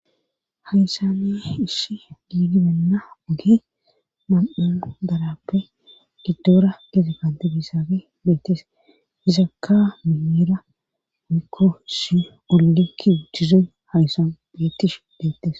Haysane ish giidi beenna oge mam7an darappe giddoora gite kanti bisafe meetes izakka mihira onikko si ollinki uchchizen hayssan beettish beettes.